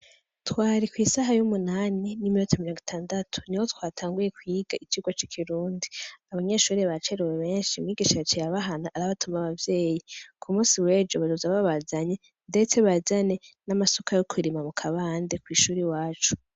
Twari kw'isaha y'umunani n'iminota mirongo itandatu niho twatanguye kwiga icirwa c'ikirundi abanyeshuri bacere beshi umwigisha yaciye abahana arabatuma abavyeyi ku munsi wejo bazoza babazane ndetse bazane n'amasuka yo kurima mu kabande kw'ishuri iwacu.